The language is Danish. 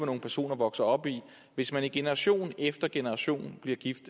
nogle personer vokser op i hvis man i generation efter generation bliver gift